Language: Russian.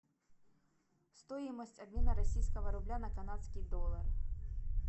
стоимость обмена российского рубля на канадский доллар